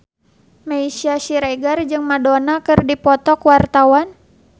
Meisya Siregar jeung Madonna keur dipoto ku wartawan